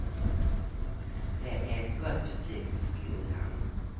Det är ett gott betyg för skolan.